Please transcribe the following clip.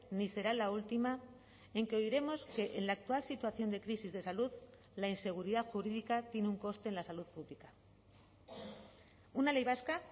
ni será la última en que oiremos que en la actual situación de crisis de salud la inseguridad jurídica tiene un coste en la salud pública una ley vasca